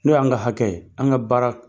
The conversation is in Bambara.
N' o y' an ka hakɛ, an ka baara